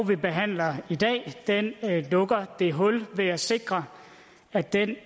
vi behandler i dag lukker det hul ved at sikre at den